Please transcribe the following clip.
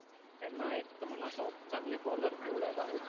त्यांहा एक मला अस वाटत चांगले bowler निवडायला हवे.